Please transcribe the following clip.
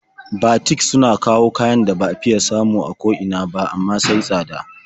Batik suna kawo kayan da ba a fiya samu a ko ina ba, amma sai tsada.